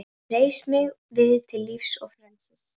Reis mig við til lífs og frelsis!